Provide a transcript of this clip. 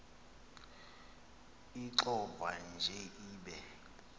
ixovwa nje ibe